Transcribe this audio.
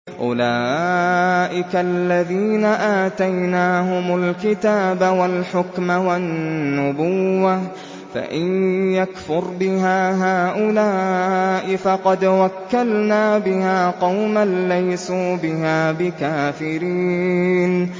أُولَٰئِكَ الَّذِينَ آتَيْنَاهُمُ الْكِتَابَ وَالْحُكْمَ وَالنُّبُوَّةَ ۚ فَإِن يَكْفُرْ بِهَا هَٰؤُلَاءِ فَقَدْ وَكَّلْنَا بِهَا قَوْمًا لَّيْسُوا بِهَا بِكَافِرِينَ